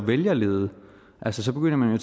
vælgerlede altså så begynder man jo